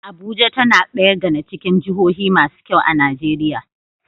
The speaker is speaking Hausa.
Abuja tAna daya gAna cikin jahohu masu kyau a nigeria